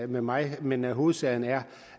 med mig men hovedsagen er